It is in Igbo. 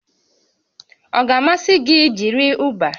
Ọ ga-amasị gị ijiri Uba?